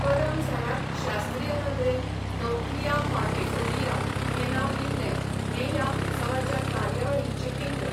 करम झाडाक शास्त्रीय नदरेन नौक्लीया पार्विफोलिया हें नांव दिल्लें हें ह्या उत्सवाचे कार्यवाहीचें केंद्र.